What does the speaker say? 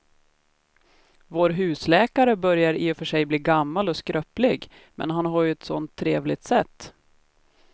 Vår husläkare börjar i och för sig bli gammal och skröplig, men han har ju ett sådant trevligt sätt!